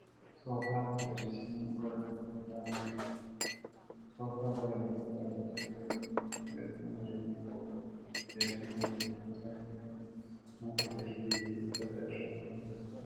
Soofaa magariisni gola gidduu kaa'amee jira. Soofaa gola gidduu dhaabbatee jieu duuba biqiltuun bareedinaaf oolu ni argama. Teessoon gola gidduu taa'ee jiru kun mukaa, jirbii fi uffata irraa kan hojjatameedha.